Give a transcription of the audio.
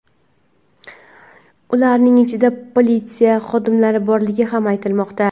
Ularning ichida politsiya xodimlari borligi ham aytilmoqda.